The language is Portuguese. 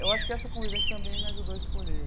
Eu acho que essa convivência também me ajudou a escolher.